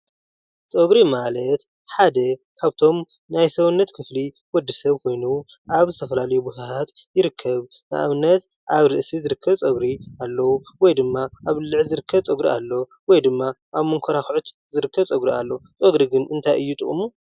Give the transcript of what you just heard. ፀጉሪ ማለት ሓደ ካብቶም ናይ ሰውነት ክፍሊ ወድሰብ ኮይኑ ኣብ ዝተፈላለዩ ቦታታት ይርከብ፡፡ ንኣብነት ኣብ ርእሲ ዝርከብ ፀጉሪ ኣለው፣ ወይድማ ኣብ ብልዕቲ ዝርከብ ፀጉሪ ኣሎ ፣ ወይድማ ኣብ መንኮራጉዕቲ ዝርከብ ፀጉሪ ኣሎ ፡፡ ፀጉሪ ግን እንታይ እዩ ጥቅሙ?